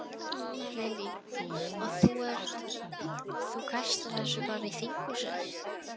Lillý: Og þú ert, þú kastar þessu bara í þinghúsið?